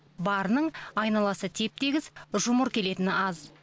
барының айналасы теп тегіс жұмыр келетіні аз